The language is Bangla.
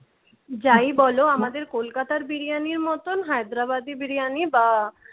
যাই বল আমাদের কলকাতার বিরিয়ানির মতন হায়দ্রাবাদি বিরিয়ানি বা